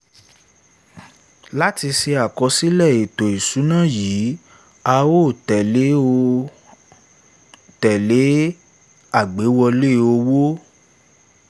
láti ṣe àkọsílẹ̀ ètò ìṣúná yìí a òó tẹ̀lé òó tẹ̀lé àgbéwọlé owó